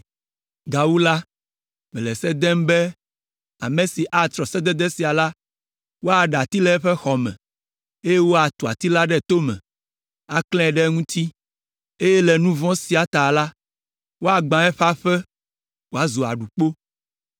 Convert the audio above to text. Gawu la, mele se dem be ame si atrɔ sedede sia la, woaɖe ati le eƒe xɔ me, eye woatu ati la ɖe tome, aklãe ɖe eŋuti, eye le nu vɔ̃ sia ta la, woagbã eƒe aƒe wòazu aɖukpo.